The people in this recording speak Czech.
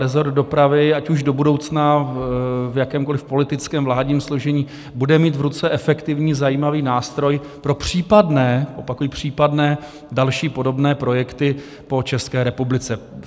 Resort dopravy, ať už do budoucna v jakémkoliv politickém, vládním složení, bude mít v ruce efektivní, zajímavý nástroj pro případné - opakuji případné - další podobné projekty po České republice.